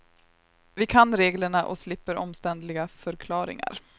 Vi kan reglerna och slipper omständliga förklaringar.